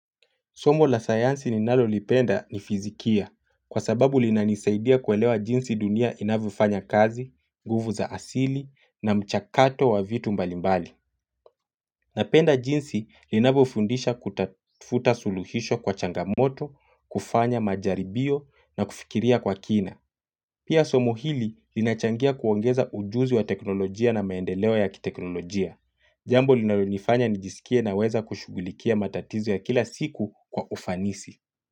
Somo la sayansi ninalo lipenda ni fizikia, kwasababu linanisaidia kuelewa jinsi dunia inavyofanya kazi, nguvu za asili na mchakato wa vitu mbalimbali. Napenda jinsi linavyofundisha kutafuta suluhisho kwa changamoto, kufanya majaribio na kufikiria kwa kina. Pia somo hili linachangia kuongeza ujuzi wa teknolojia na maendeleo ya kiteknolojia. Jambo linalo nifanya nijisikie naweza kushugulikia matatizo ya kila siku kwa ufanisi.